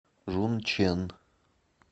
жунчэн